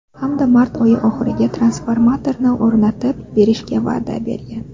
Hamda mart oyi oxiriga transformatorni o‘rnatib berishga va’da bergan.